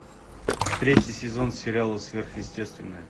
третий сезон сериала сверхъестественное